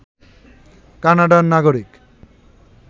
কানাডার নাগরিক